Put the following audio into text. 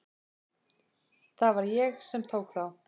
Það var ég sem tók þá.